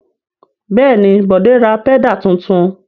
Bẹ́ẹ̀ ni, Bọ̀dé ra pẹ́dà tuntun.